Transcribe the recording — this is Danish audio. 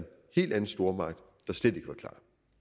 helt anden stormagt der slet ikke var klar